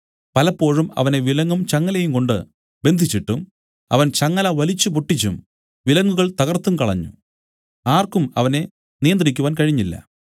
പലപ്പോഴും അവനെ വിലങ്ങും ചങ്ങലയുംകൊണ്ട് ബന്ധിച്ചിട്ടും അവൻ ചങ്ങല വലിച്ചുപൊട്ടിച്ചും വിലങ്ങുകൾ തകർത്തും കളഞ്ഞു ആർക്കും അവനെ നിയന്ത്രിക്കുവാൻ കഴിഞ്ഞില്ല